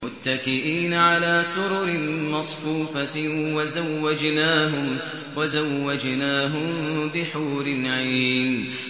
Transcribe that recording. مُتَّكِئِينَ عَلَىٰ سُرُرٍ مَّصْفُوفَةٍ ۖ وَزَوَّجْنَاهُم بِحُورٍ عِينٍ